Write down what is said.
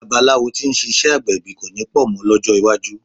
Babaláwo tí ń ṣiṣẹ́ agbẹ̀bí kọ̀ ní pọ̀ mọ́ lọ́jọ́ iwájú.